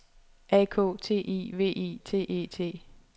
A K T I V I T E T